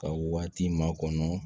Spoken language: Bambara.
Ka waati makɔnɔ